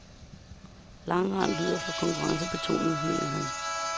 Langrend lyder for konkurrencebetonet, mener han.